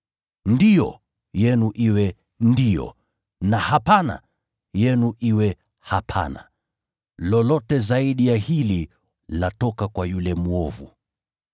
‘Ndiyo’ yenu iwe ‘Ndiyo,’ na ‘Hapana’ yenu iwe ‘Hapana.’ Lolote zaidi ya hili latoka kwa yule mwovu.